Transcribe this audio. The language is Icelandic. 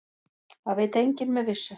Það veit enginn með vissu.